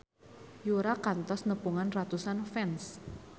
Yura kantos nepungan ratusan fans